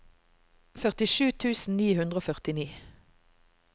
førtisju tusen ni hundre og førtini